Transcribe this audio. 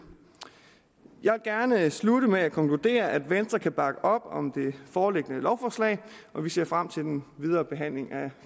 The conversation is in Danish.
jeg vil gerne slutte med at konkludere at venstre kan bakke op om det foreliggende lovforslag vi ser frem til den videre behandling af